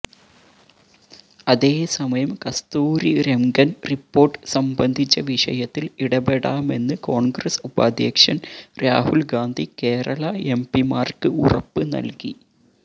അതേസമയം കസ്തൂരിരംഗന് റിപ്പോര്ട്ട് സംബന്ധിച്ച വിഷയത്തില് ഇടപെടാമെന്ന് കോണ്ഗ്രസ് ഉപാധ്യക്ഷന് രാഹുല്ഗാന്ധി കേരള എം പിമാര്ക്ക് ഉറപ്പുനല്കി